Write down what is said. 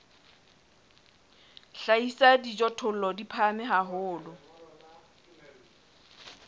hlahisa dijothollo di phahame haholo